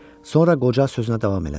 Sonra qoca sözünə davam elədi.